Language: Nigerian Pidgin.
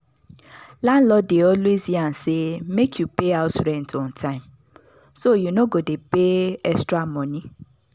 landlord dey always yarn say make you pay house rent on time so you no go dey pay extra money.